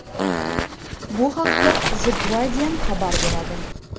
Bu haqda The Guardian xabar beradi .